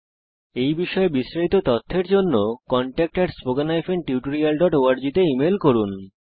এই বিষয় বিস্তারিত তথ্যের জন্য contactspoken tutorialorg তে ইমেল করুন